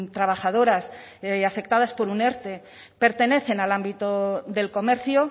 trabajadoras afectadas por un erte pertenecen al ámbito del comercio